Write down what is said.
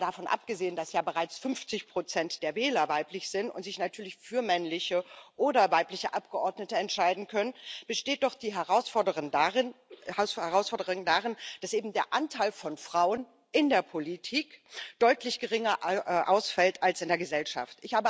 Mal davon abgesehen, dass ja bereits 50 der Wähler weiblich sind und sich natürlich für männliche oder weibliche Abgeordnete entscheiden können, besteht doch die Herausforderung darin, dass eben der Anteil von Frauen in der Politik deutlich geringer ausfällt als in der Gesellschaft.